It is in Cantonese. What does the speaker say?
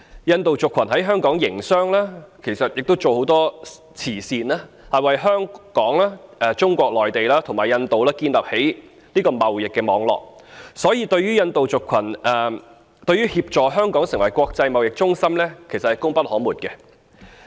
印度族群在香港營商，亦參與很多慈善事業，在香港、中國內地及印度之間建立起貿易網絡，因此印度族群對於協助香港成為國際貿易中心是功不可沒的。